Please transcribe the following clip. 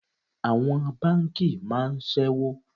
Àwọn báńkì máa ń sẹ́wó.